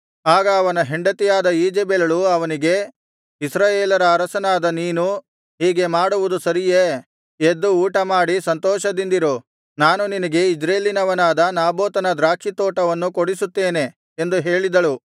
ಆಗ ಅವನ ಹೆಂಡತಿಯಾದ ಈಜೆಬೆಲಳು ಅವನಿಗೆ ಇಸ್ರಾಯೇಲರ ಅರಸನಾದ ನೀನು ಹೀಗೆ ಮಾಡುವುದು ಸರಿಯೇ ಎದ್ದು ಊಟ ಮಾಡಿ ಸಂತೋಷದಿಂದಿರು ನಾನು ನಿನಗೆ ಇಜ್ರೇಲಿನವನಾದ ನಾಬೋತನ ದ್ರಾಕ್ಷಿತೋಟವನ್ನು ಕೊಡಿಸುತ್ತೇನೆ ಎಂದು ಹೇಳಿದಳು